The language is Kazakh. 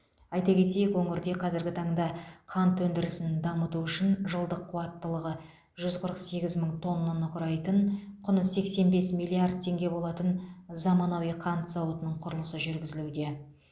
айта кетейік өңірде қазіргі таңда қант өндірісін дамыту үшін жылдық қуаттылығы жүз қырық сегіз мың тоннаны құрайтын құны сексен бес миллиард теңге болатын заманауи қант зауытының құрылысы жүргізілуде